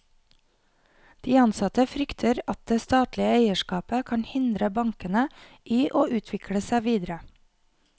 De ansatte frykter at det statlige eierskapet kan hindre bankene i å utvikle seg videre.